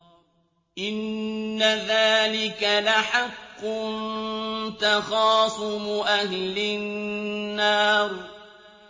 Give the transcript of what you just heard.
إِنَّ ذَٰلِكَ لَحَقٌّ تَخَاصُمُ أَهْلِ النَّارِ